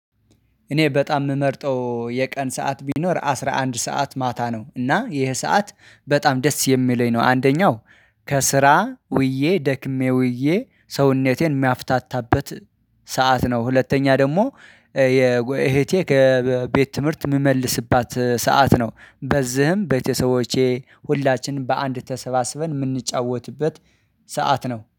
እኔ በጣም የምመርጠው የቀን ሰዓት ቢኖር አስራ አንድ ሰዓት ማታ ነው እና ይሄ ሰዓት በጣም ደስ የሚለኝ ነው አንደኛው ከስራ ውዬ ደክሜ ውዬ ሰውነቴን የማፍታታበት ሰዓት ነው። ሁለተኛ ደግሞ የእህቴ ከቤት ትምህርት የምመልስባት ሰዓት ነው። በዚህም ቤተሰቦቼ ሁላችንም በአንድ ተሰባስበን የምንጫወትበት ሰዓት ነው